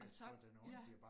Og så ja